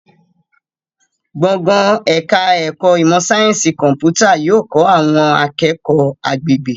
Gbọ̀ngàn ẹ̀ka ẹ̀kọ́ ìmọ̀ sáyẹ́nsì kọ̀m̀pútà yóò kọ́ àwọn akẹ́kọ̀ọ́ agbègbè